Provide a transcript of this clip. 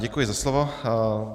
Děkuji za slovo.